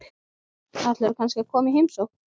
Ætlarðu kannski að koma í heimsókn?